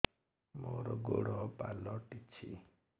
ମୋର ଗୋଡ଼ ପାଲଟିଛି